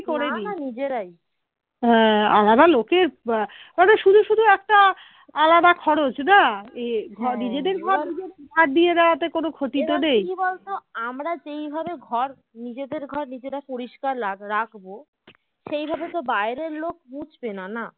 আমরা যেভাবে ঘর নিজেদের ঘর নিজেরা পরিষ্কার রাখ ~ রাখবো সেই ভাব তো বাইরের লোক মুছবেনা না